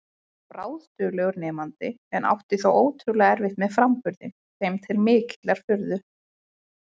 Hann var bráðduglegur nemandi en átti þó ótrúlega erfitt með framburðinn, þeim til mikillar furðu.